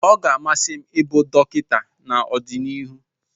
Ọ ga-amasị m ịbụ dọkịta n'ọdịnihu.